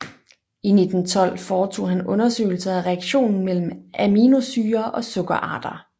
I 1912 foretog han undersøgelser af reaktionen mellem aminosyrer og sukkerarter